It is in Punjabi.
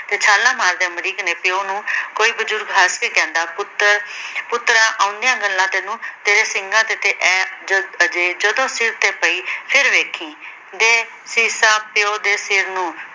ਤੇ ਛਾਲਾਂ ਮਾਰਦੇ ਅਮਰੀਕ ਨੇ ਪਿਉ ਨੂੰ ਕੋਈ ਬਜ਼ੁਰਗ ਹੱਸਕੇ ਕਹਿੰਦਾ ਪੁੱਤਰ-ਪੁੱਤਰਾਂ ਆਉਂਦਿਆਂ ਗੱਲਾਂ ਤੈਨੂੰ, ਤੇਰਿਆ ਸਿੰਘਾਂ ਤੇ ਐ ਜਦੋਂ ਸਿਰ ਤੇ ਪਾਈ ਫਿਰ ਵੇਖੀ। ਦੇ ਸੀਸਾਂ ਪਿਉ ਦੇ ਸਿਰ ਨੂੰ।